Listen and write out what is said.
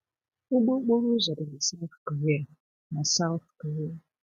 Ụgbọ okporo ụzọ dị na South Korea. na South Korea.